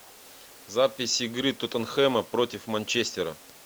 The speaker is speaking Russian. запись игры тоттенхэма против манчестера